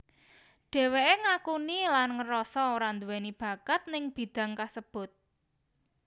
Dheweké ngakuni lan ngerasa ora anduweni bakat ning bidang kasebut